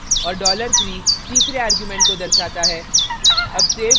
और dollar 3 तीसरे argument को दर्शाता है